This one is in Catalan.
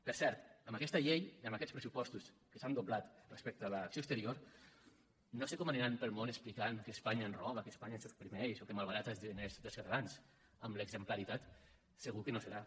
per cert amb aquesta llei amb aquests pressupostos que s’han doblat respecte a l’acció exterior no sé com aniran pel món explicant que espanya ens roba que espanya ens oprimeix o que malbarata els diners dels catalans amb l’exemplaritat segur que no serà